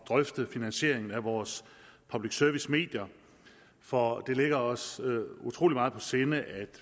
drøfte finansieringen af vores public service medier for det ligger os utrolig meget på sinde at